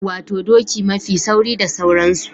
Wato doki mafi sauri da sauransu.